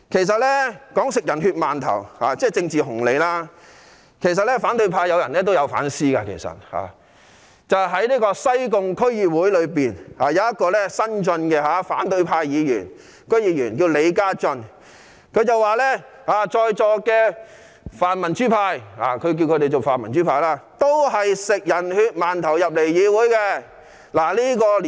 說到吃"人血饅頭"，即賺取政治紅利，其實反對派中也有人有反思，例如西貢區議會有一名新晉的反對派議員李嘉睿，他說在座的泛民主派議員都是吃"人血饅頭"進入議會的。